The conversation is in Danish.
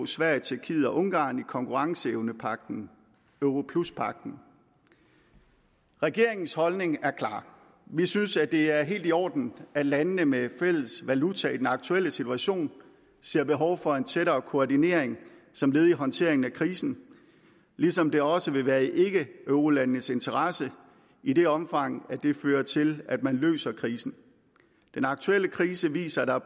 sverige tjekkiet og ungarn i konkurrenceevnepagten europluspagten regeringens holdning er klar vi synes det er helt i orden at landene med fælles valuta i den aktuelle situation ser behov for en tættere koordinering som led i håndteringen af krisen ligesom det også vil være i ikkeeurolandenes interessse i det omfang det fører til at man løser krisen den aktuelle krise viser at der